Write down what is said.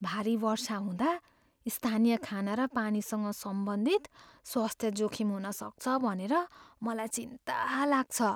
भारी वर्षा हुँदा स्थानीय खाना र पानीसँग सम्बन्धित स्वास्थ्य जोखिम हुन सक्छ भनेर मलाई चिन्ता लाग्छ।